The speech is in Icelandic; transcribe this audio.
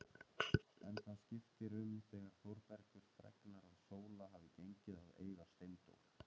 En það skiptir um þegar Þórbergur fregnar að Sóla hafi gengið að eiga Steindór.